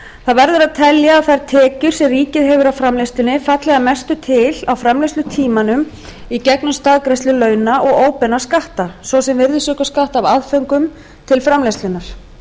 það verður að telja að þær tekjur sem ríkið hefur af framleiðslunni falli að mestu til á framleiðslutímanum í gegnum staðgreiðslu launa og óbeina skatta svo sem virðisaukaskatt af aðföngum til framleiðslunnar